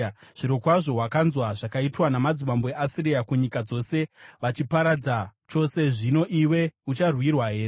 Zvirokwazvo wakanzwa zvakaitwa namadzimambo eAsiria kunyika dzose vachidziparadza chose. Zvino iwe ucharwirwa here?